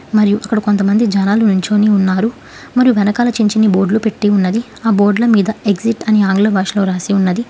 మరియు అక్కడ కొంతమంది జనాలు నించోని ఉన్నారు మరియు వెనకాల చించిన్ని బోర్డ్లు పెట్టి ఉన్నది ఆ బోర్డ్ల మీద ఎగ్జిట్ అని ఆంగ్ల భాషలో రాసి ఉన్నది.